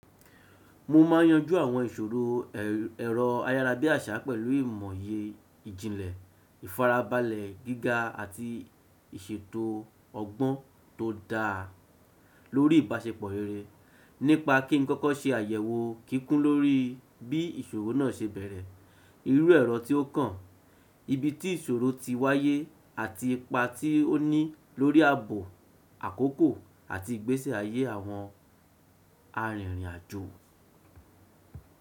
Mo ma n yanju àwọn ìṣòro ero ayarabiasa pẹ̀lú imoye ìjìnlẹ̀, ìfarabalẹ̀ gíga àti ìṣètò ọgbọ́n to da lórí ìbáṣepọ̀ rere nípa kin koko ṣe àyẹ̀wò kíkún lórí bí ìṣòro náà ṣe bẹ̀rẹ̀, irú ero ti o kan, ibi ti ìṣòro ti wáyé àti ipa ti o ni lórí ààbò àkókò àti ìgbésí ayé àwọn arinrin ajo.